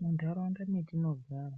Munharaunda metinogara